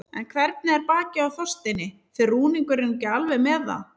En hvernig er bakið á Þorsteini, fer rúningurinn ekki alveg með það?